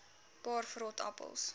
paar vrot appels